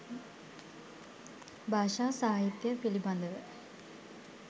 භාෂා සාහිත්‍ය පිළිබඳව